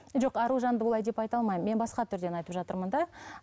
жоқ аружанды олай деп айта алмаймын мен басқа түрден айтып жатырмын да